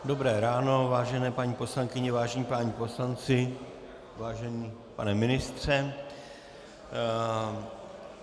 Dobré ráno, vážené paní poslankyně, vážení páni poslanci, vážený pane ministře.